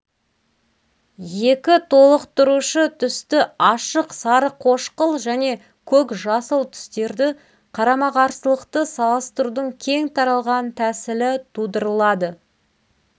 екі толықтырушы түсті ашық сарықошқыл және көк-жасыл түстерді қарама қарсылықты салыстырудың кең таралған тәсілі тудырылады